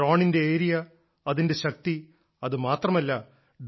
എന്നാൽ ഡ്രോണിന്റെ ഏരിയ അതിന്റെ ശക്തി അത് മാത്രമല്ല